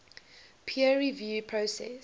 peer review process